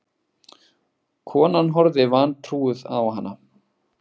Konan horfði vantrúuð á hana.